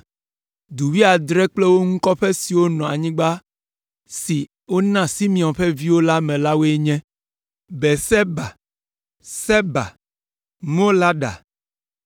Du wuiadre kple wo ŋu kɔƒe siwo nɔ anyigba si wona Simeon ƒe viwo me la woe nye: Beerseba, Seba, Molada,